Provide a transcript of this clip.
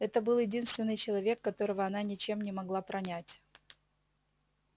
это был единственный человек которого она ничем не могла пронять